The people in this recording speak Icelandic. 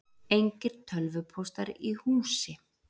Engir tölvupóstar í húsi